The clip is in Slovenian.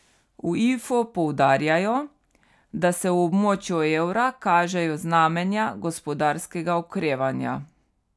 V Ifu poudarjajo, da se v območju evra kažejo znamenja gospodarskega okrevanja.